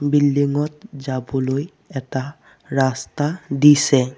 Building ত যাবলৈ এটা ৰাস্তা দিছে।